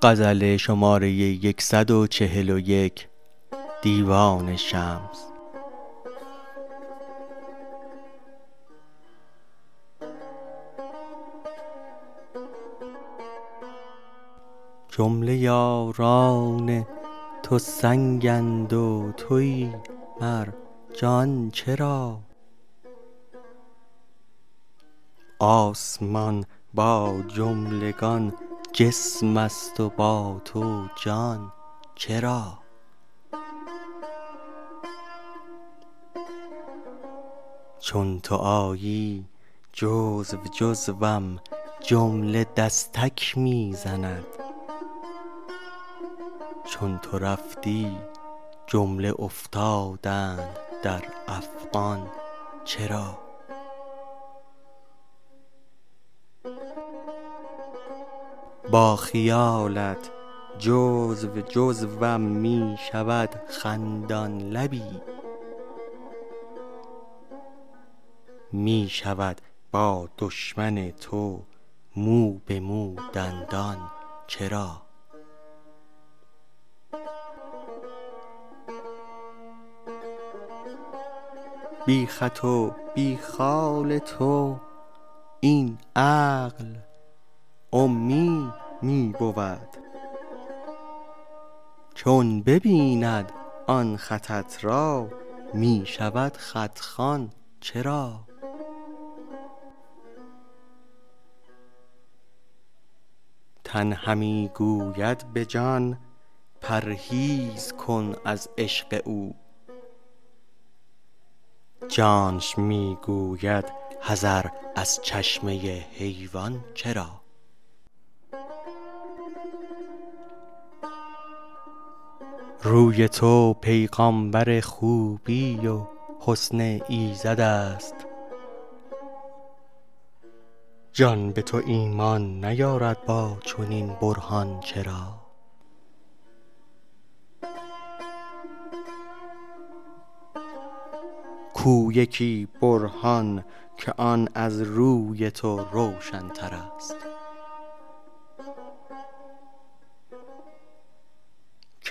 جمله یاران تو سنگند و توی مرجان چرا آسمان با جملگان جسمست و با تو جان چرا چون تو آیی جزو جزوم جمله دستک می زنند چون تو رفتی جمله افتادند در افغان چرا با خیالت جزو جزوم می شود خندان لبی می شود با دشمن تو مو به مو دندان چرا بی خط و بی خال تو این عقل امی می بود چون ببیند آن خطت را می شود خط خوان چرا تن همی گوید به جان پرهیز کن از عشق او جانش می گوید حذر از چشمه حیوان چرا روی تو پیغامبر خوبی و حسن ایزدست جان به تو ایمان نیارد با چنین برهان چرا کو یکی برهان که آن از روی تو روشنترست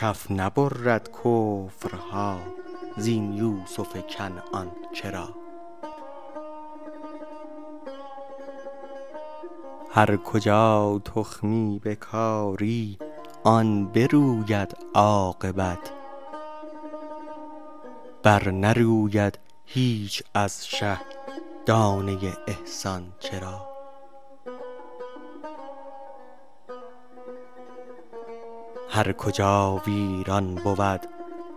کف نبرد کفرها زین یوسف کنعان چرا هر کجا تخمی بکاری آن بروید عاقبت برنروید هیچ از شه دانه ی احسان چرا هر کجا ویران بود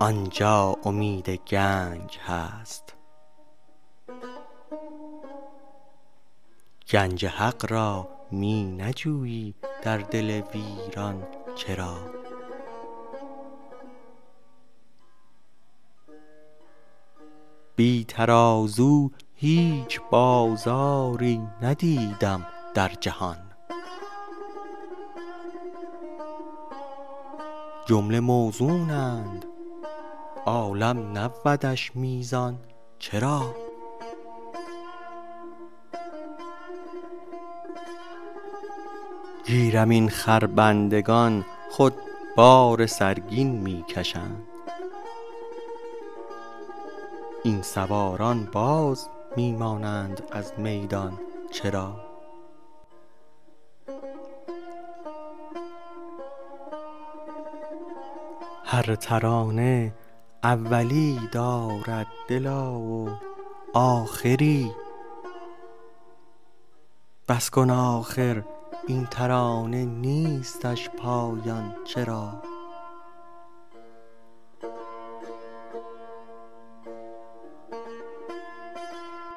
آن جا امید گنج هست گنج حق را می نجویی در دل ویران چرا بی ترازو هیچ بازاری ندیدم در جهان جمله موزونند عالم نبودش میزان چرا گیرم این خربندگان خود بار سرگین می کشند این سواران باز می مانند از میدان چرا هر ترانه اولی دارد دلا و آخری بس کن آخر این ترانه نیستش پایان چرا